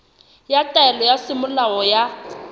ya taelo ya semolao ya